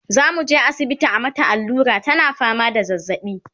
zamuje asibiti a mata allura tana fama da zazzaɓi